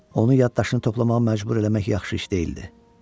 Onu yaddaşını toplamağa məcbur eləmək yaxşı iş deyildi.